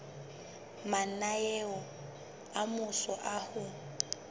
mananeo a mmuso a ho